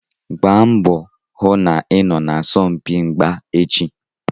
Gbaa mbọ hụ na ị ga-anọ na asọmpi mgba echi.